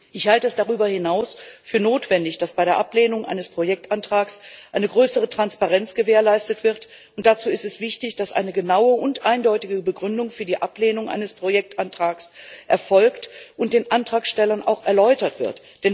Ich halte es darüber hinaus für notwendig, dass bei der Ablehnung eines Projektantrags eine größere Transparenz gewährleistet wird, und dazu ist es wichtig, dass eine genaue und eindeutige Begründung für die Ablehnung eines Projektantrags erfolgt und den Antragstellern auch erläutert wird.